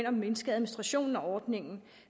og mindske administrationen af ordningen